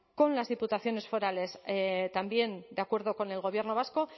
con las diputaciones forales también de acuerdo con el gobierno vasco